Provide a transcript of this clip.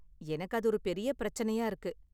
எனக்கு அது ஒரு பெரிய பிரச்சனையா இருக்கு.